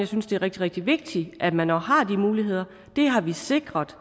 synes det er rigtig rigtig vigtigt at man også har de muligheder det har vi sikret